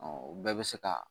o bɛɛ bɛ se ka